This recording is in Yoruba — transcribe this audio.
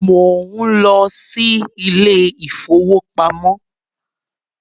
Mo ń lọ sí ilé ìfowópamọ́